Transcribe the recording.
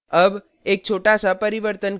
अब एक छोटाnow परिवर्तन करें